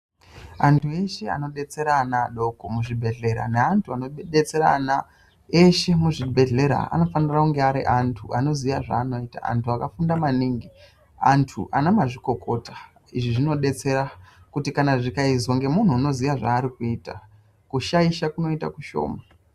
Antu eshe anodetsera anaadoko muzvibhedhlera, neantu anotidetserana eshe muzvibhedhlera, anofanira kunge ari antu anoziya zvaanoita, antu akafunda maningi, ana mazvikokota. Izvi zvinodetsera kuti zvikaizwa ngemunhu anoziya zvaari kuita, kushaisha kunoita kushoma.